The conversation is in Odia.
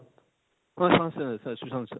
ହଁ, ହଁ sir, sir ସୁଶାନ୍ତ sir